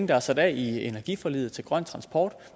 der er sat af i energiforliget til grøn transport